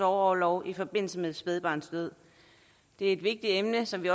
orlov i forbindelse med et spædbarns død det er et vigtigt emne som vi